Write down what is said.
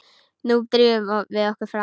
Nú drífum við okkur fram!